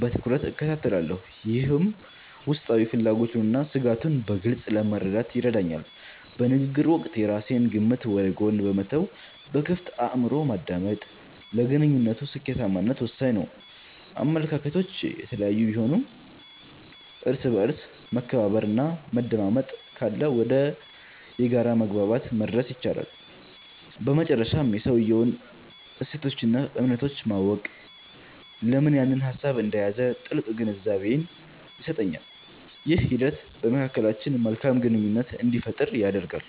በትኩረት እከታተላለሁ፤ ይህም ውስጣዊ ፍላጎቱንና ስጋቱን በግልፅ ለመረዳት ይረዳኛል። በንግግር ወቅት የራሴን ግምት ወደ ጎን በመተው በክፍት አእምሮ ማዳመጥ፣ ለግንኙነቱ ስኬታማነት ወሳኝ ነው። አመለካከቶች የተለያዩ ቢሆኑም፣ እርስ በእርስ መከባበርና መደማመጥ ካለ ወደ የጋራ መግባባት መድረስ ይቻላል። በመጨረሻም የሰውየውን እሴቶችና እምነቶች ማወቅ፣ ለምን ያንን ሀሳብ እንደያዘ ጥልቅ ግንዛቤን ይሰጠኛል። ይህ ሂደት በመካከላችን መልካም ግንኙነት እንዲፈጠር ያደርጋል።